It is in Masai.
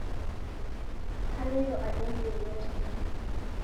Kaloito adol yeiyo tenkang